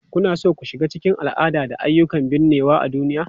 Kuna so ku shiga cikin al'ada da ayyukan binnewa a duniya?